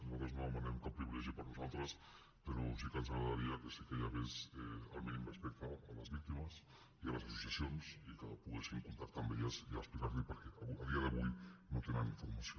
nosaltres no demanem cap privilegi per a nosaltres però sí que ens agradaria que sí que hi hagués el mínim respecte a les víctimes i a les associacions i que poguessin contactar amb elles i explicarlosho perquè a dia d’avui no tenen informació